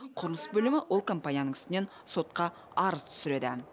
құрылыс бөлімі ол компанияның үстінен сотқа арыз түсіреді